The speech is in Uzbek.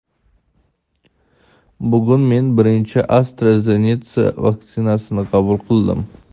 Bugun men birinchi AstraZeneca vaksinasini qabul qildim.